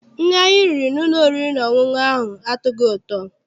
Nri anyị riri n'ụlọ oriri na ọṅụṅụ ahụ atọghị ụtọ.